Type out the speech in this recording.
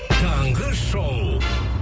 таңғы шоу